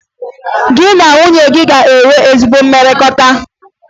Gị na nwunye gị e nwere ezi mmekọrịta?